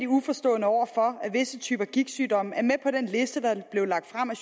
uforstående overfor at visse typer gigtsygdomme er med på den liste der blev lagt frem af